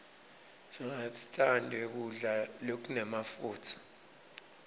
singastandzi kudla lokunemafutsa